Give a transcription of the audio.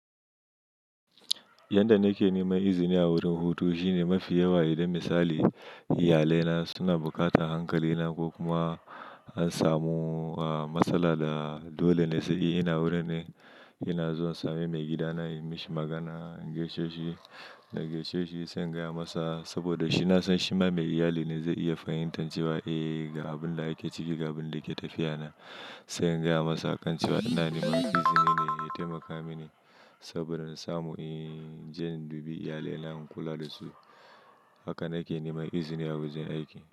Yanda nake neman izini a wurin hutu shine mafi yawa. Idon misali, iyalaina suna buƙatan hankalina ko kuma an samuwa masala da dole sai ina wurin ne. Ina zuwa same maigidana, yi mashi magana, in gaishe shi, na gaishe shi sai in gaya masa saboda shi na san shi ma mai iyali ne zai iya fahimtar cewa eh ga abin da yake ciki, ga abin da yake tafiya na. Sai in gaya masa akan cewa ina neman izini ne ya taimaka mini saboda in samu, in je in dubi iyali na, in kula da su. Haka nake neman izini a wajen aiki.